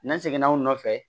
N'an seginna u nɔfɛ